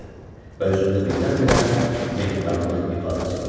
Və üzündə birdən-birə mehribanlıq ifadəsi göründü.